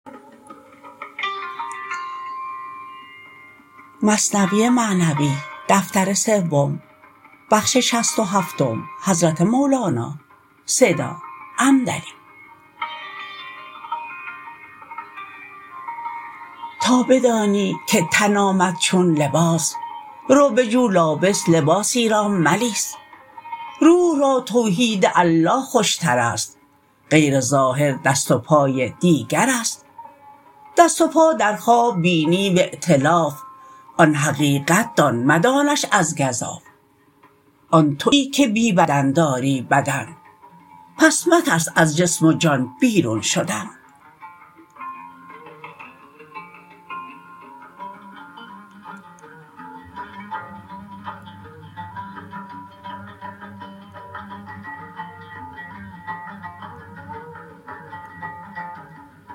تا بدانی که تن آمد چون لباس رو بجو لابس لباسی را ملیس روح را توحید الله خوشترست غیر ظاهر دست و پای دیگرست دست و پا در خواب بینی و ایتلاف آن حقیقت دان مدانش از گزاف آن توی که بی بدن داری بدن پس مترس از جسم و جان بیرون شدن